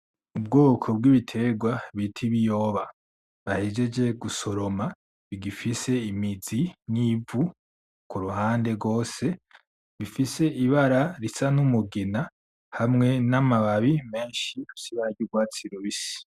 Ubwoko bw'ibiterwa bita ibiyoba bahejeje gusoroma bigifise imizi n'ivu kuruhande rwose bifise ibara risa n'umugina hamwe n'amababi menshi afise ibara ry'urwatsi rubisi.